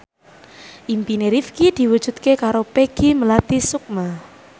impine Rifqi diwujudke karo Peggy Melati Sukma